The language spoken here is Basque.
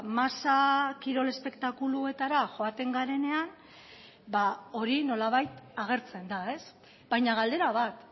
masa kirol espektakuluetara joaten garenean hori nolabait agertzen da baina galdera bat